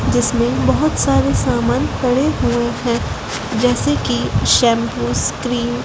जिसमें बहोत सारे सामान पड़े हुए हैं जैसे की शैम्पूस क्रीम --